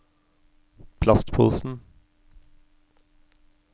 plastposen